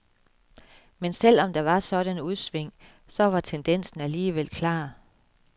Men selv om der var sådanne udsving, så var tendensen alligevel klar.